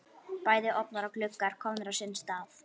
Bæði ofnar og gluggar komnir á sinn stað.